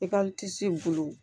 I ka in bolo